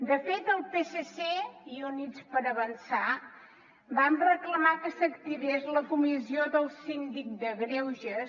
de fet el psc i units per avançar vam reclamar que s’activés la comissió del síndic de greuges